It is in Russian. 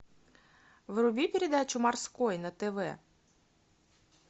вруби передачу морской на тв